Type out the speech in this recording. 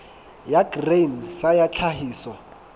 ya grain sa ya tlhahiso